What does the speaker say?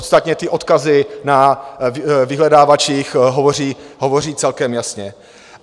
Ostatně ty odkazy na vyhledávačích hovoří celkem jasně.